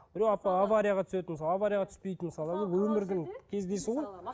біреу аварияға түседі мысалы аварияға түспейді мысалы бұл өмірдің кездесуі ғой